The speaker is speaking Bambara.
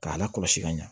K'a la kɔlɔsi ka ɲa